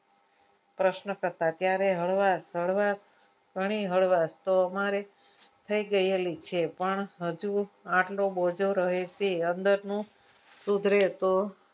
પ્રશ્નકર્તા ત્યારે હળવા હળવાશ હળવાશ શાની હળવાશ તો અમારે થઈ ગયેલી છે પણ હજુ આટલો બોજો રહેલો છે અંદરનું સુધરે તો